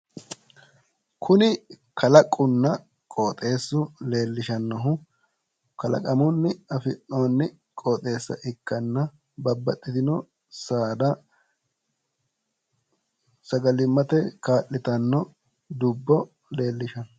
Kuni kalaqunna qoxeessu leellishannohu kalaqamunni afi'noonni qoxeessa ikkanna babbaxxitino saada sagalimmate kaa'litanno dubbo leelishanno